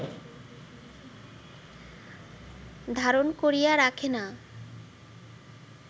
ধারণ করিয়া রাখে না